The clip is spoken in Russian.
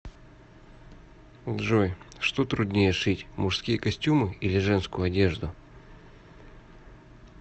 джой что труднее шить мужские костюмы или женскую одежду